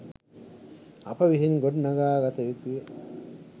අප විසින් ගොඩනඟා ගත යුතුය